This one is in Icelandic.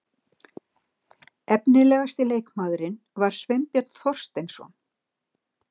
Efnilegasti leikmaðurinn var Sveinbjörn Þorsteinsson.